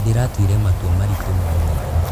Ndĩratuire matua maritũ no mega.